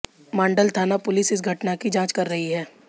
माण्डल थाना पुलिस इस घटना की जांच कर रही है